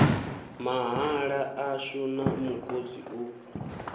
mahaḓa ashu na mukosi u